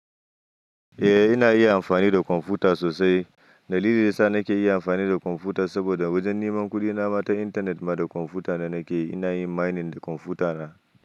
Eh ina iya amfani da kwamfuta sosai. Dalilin yasa nake iya amfani da kwamfuta saboda wajen neman kuɗi nama ta intanet ma da kwamfuta na nake. Ina yin mining da kwamfuta na.